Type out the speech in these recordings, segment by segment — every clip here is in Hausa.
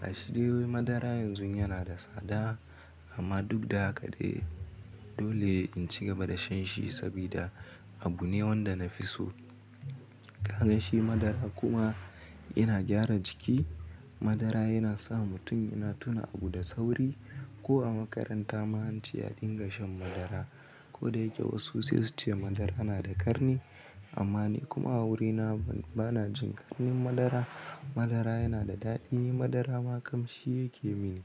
Gashi dai madara yanzu yana da tsada amma duk da haka dai dole in ci gaba da shan shi saboda abu ne wanda na fi so. Kaga shi madara kuma yana gyara jiki. Madara yana sa mutum yana tuna abu da sauri. Ko a makaranta ma ance a dinga shan madara. Ko dayake wasu sai su ce madara yana da ƙarni. Amma ni kuma a wurina ba na jin ƙarnin madara. Madara yana da daɗi. Madara ma kam shi yake mini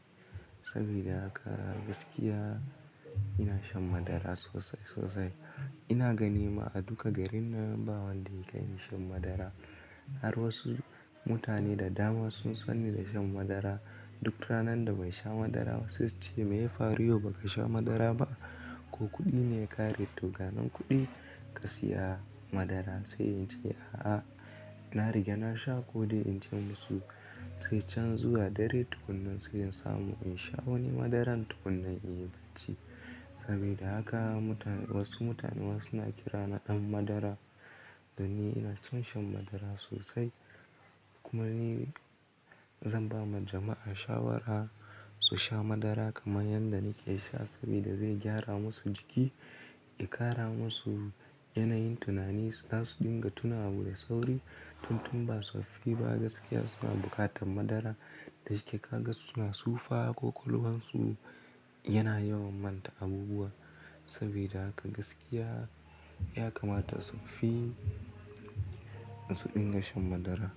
sabida haka gaskiya ina shan madara sosai sosai. Ina ganin ma a duka garin nan ba wanda yakai ni shan madara. Har wasu mutane da dama sun sanni da shan madara. Duk ranar da bai sha madara ba sai su ce me ya faru yau ba ka sha madara ba? Ko kuɗi ne ya kare? Toga nan kuɗi ka saya madara. Sai in ce a a, na riga na sha. Ko dai in ce musu sai can zuwa dare tukunnan sai in samu in sha wani madaran tukunnan in yi barci. Sabida haka mutane wasu mutane wai suna kira na ɗan madara da ni ina son shan madara sosai. Kuma ni zan ba ma jama'a shawara su sha madara kamar yadda nike sha saboda zai gyara masu jiki, ya ƙara masu yanayin tunani, za su dinga tuna abu da sauri. Tun tun ba suffi ba gaskiya suna bukatan madara. Da shi ka ga suna sufa ko ƙwaƙwalwansu yana yawan manta abubuwa. Sabida haka gaskiya ya kamata su fi su dinga shan madara.